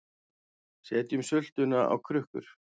Setjum sultuna á krukkur